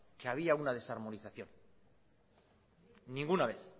que había una desarmonización ninguna vez